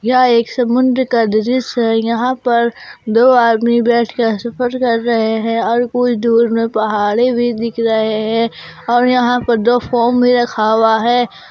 यह एक समुद्र का दृश्य है यहां पर दो आदमी बैठकर सफर कर रहे हैं और कुछ दूर में पहाड़ी भी दिख रहे हैं और यहां पर दो फार्म भी रखा हुआ है।